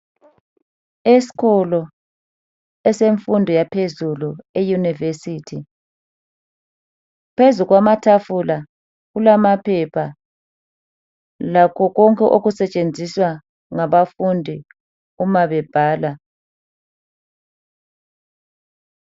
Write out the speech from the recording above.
Esikolo esemfundo yaphezulu eyunivesithi phezu kwamatafula kulamaphepha lakho konke okusetshenziswa ngabafundi uma bebhala.